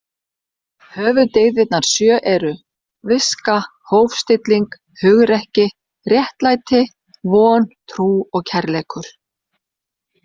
Höfuðdyggðirnar sjö eru: Viska, hófstilling, hugrekki, réttlæti, von, trú og kærleikur.